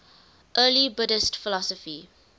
early buddhist philosophy